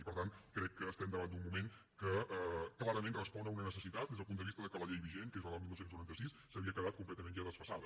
i per tant crec que estem davant d’un moment que clarament respon a una necessitat des del punt de vista de que la llei vigent que és la del dinou noranta sis s’havia quedat completament ja desfasada